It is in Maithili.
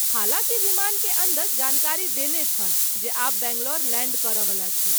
हालाँकि विमान के अन्दर जानकारी देने छल जे आब बैंगलोर लैंड करय वला छी।